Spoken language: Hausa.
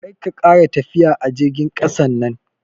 Karka ƙara tafiya a jirgin ƙasan nan.